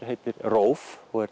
heitir róf og er